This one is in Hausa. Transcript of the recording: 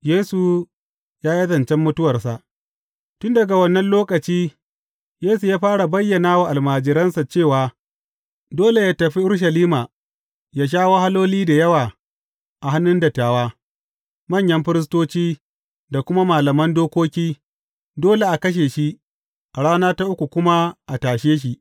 Yesu ya yi zancen mutuwarsa Tun daga wannan lokaci Yesu ya fara bayyana wa almajiransa cewa dole yă tafi Urushalima yă sha wahaloli da yawa a hannun dattawa, manyan firistoci da kuma malaman dokoki, dole a kashe shi, a rana ta uku kuma a tashe shi.